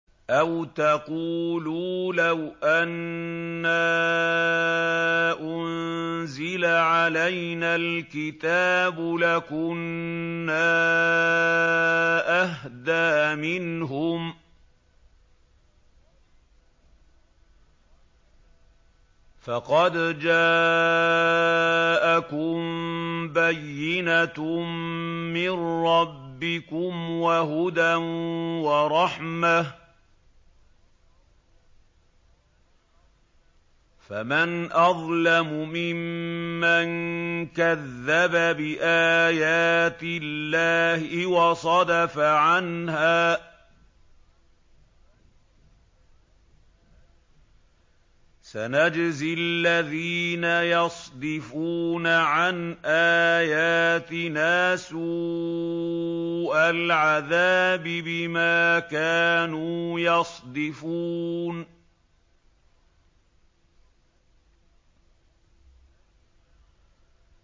أَوْ تَقُولُوا لَوْ أَنَّا أُنزِلَ عَلَيْنَا الْكِتَابُ لَكُنَّا أَهْدَىٰ مِنْهُمْ ۚ فَقَدْ جَاءَكُم بَيِّنَةٌ مِّن رَّبِّكُمْ وَهُدًى وَرَحْمَةٌ ۚ فَمَنْ أَظْلَمُ مِمَّن كَذَّبَ بِآيَاتِ اللَّهِ وَصَدَفَ عَنْهَا ۗ سَنَجْزِي الَّذِينَ يَصْدِفُونَ عَنْ آيَاتِنَا سُوءَ الْعَذَابِ بِمَا كَانُوا يَصْدِفُونَ